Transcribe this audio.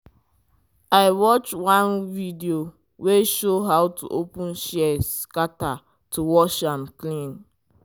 i watch one video wey show how to open shears scatter to wash am clean.